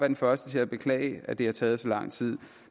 den første til at beklage at det har taget så lang tid